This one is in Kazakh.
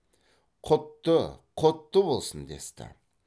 құтты құтты болсын десті